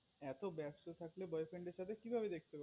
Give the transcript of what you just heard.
এত ব্যস্ত থাকলে boy friend এর সাথে কি ভাবে দেখবে